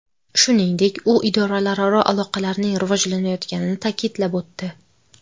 Shuningdek, u idoralararo aloqalarning rivojlanayotganini ta’kidlab o‘tdi.